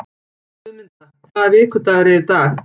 Guðmunda, hvaða vikudagur er í dag?